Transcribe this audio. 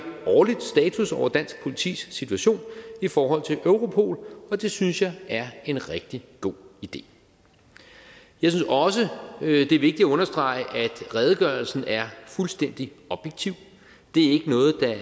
årlig status over dansk politis situation i forhold til europol og det synes jeg er en rigtig god idé jeg synes også det er vigtigt at understrege at redegørelsen er fuldstændig objektiv det